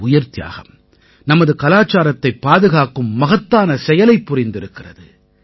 இந்த உயிர்த்தியாகம் நமது கலாச்சாரத்தைப் பாதுகாக்கும் மகத்தான செயலைப் புரிந்திருக்கிறது